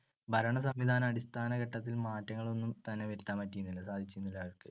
ഭരണസംവിധാന അടിസ്ഥാനഘട്ടത്തിൽ മാറ്റങ്ങളൊന്നും തന്നെ വരുത്താൻ പറ്റിയിരുന്നില്ല. സാധിച്ചിരുന്നില്ല അവർക്ക്.